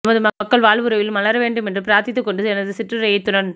எமது மக்கள் வாழ்வுவிரைவில் மலரவேண்டும் என்று பிரார்த்தித்துக் கொண்டு எனது சிற்றுரையை இத்துடன்